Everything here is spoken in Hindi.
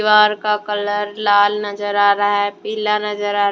बार का कलर लाल नजर आ रहा है पीला नजर आ रहा है।